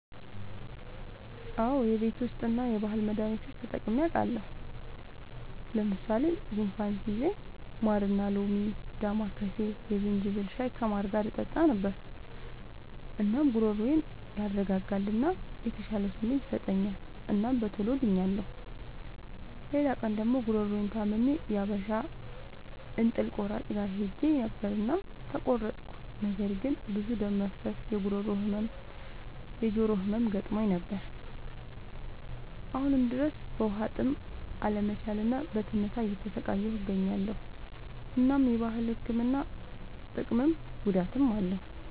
አዎ የቤት ዉስጥ እና የባህል መዳኒቶች ተጠቅሜ አዉቃለሁ። ለምሳሌ፦ ጉንፋን ሲይዘኝ ማርና ሎሚ፣ ዳማከሴ፣ የዝንጅብል ሻይ ከማር ጋር እጠጣ ነበር። እናም ጉሮሮዬን ያረጋጋል እና የተሻለ ስሜት ይሰጠኛል እናም በቶሎ ድኛለሁ። ሌላ ቀን ደግሞ ጉሮሮየን ታምሜ የሀበሻ እንጥል ቆራጭ ጋር ሄጀ ነበር እናም ተቆረጥኩ። ነገር ግን ብዙ ደም መፍሰስ፣ የጉሮሮ ህመም፣ የጆሮ ህመም ገጥሞኝ ነበር። አሁንም ድረስ በዉሀጥም አለመቻል እና በትንታ እየተሰቃየሁ እገኛለሁ። እናም የባህል ህክምና ጥቅምም ጉዳትም አለዉ።